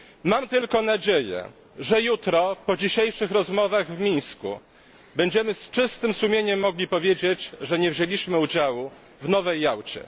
Mam tylko nadzieję, że jutro, po dzisiejszych rozmowach w Mińsku, będziemy z czystym sumieniem mogli powiedzieć, że nie wzięliśmy udziału w nowej Jałcie.